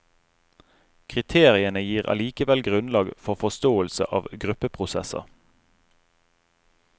Kriteriene gir allikevel grunnlag for forståelse av gruppeprosesser.